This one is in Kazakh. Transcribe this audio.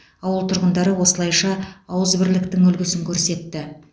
ауыл тұрғындары осылайша ауызбірліктің үлгісін көрсетті